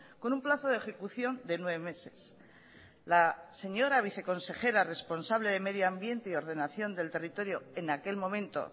con un plazo de ejecución de nueve meses la señora viceconsejera responsable de medio ambiente y ordenación del territorio en aquel momento